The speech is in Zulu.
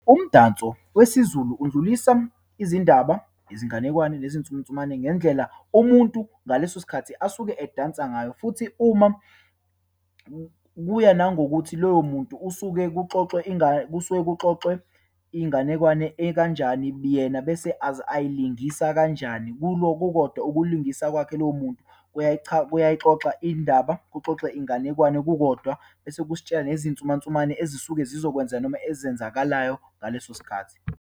Umdanso wesiZulu undlulisa izindaba, izinganekwane, nezinsumnsumane ngendlela umuntu ngaleso sikhathi asuke edansa ngayo, futhi uma kuya nangokuthi loyo muntu usuke kuxoxwe kusuke kuxoxwe inganekwane ekanjani biyena bese ayilungisa kanjani. Kulo kukodwa ukulungisa kwakhe lowo muntu kuyayixoxa indaba, kuxoxe inganekwane kukodwa. Bese kusitshela nezinsumansumane ezisuke zizokwenzeka, noma ezenzakalayo ngaleso sikhathi.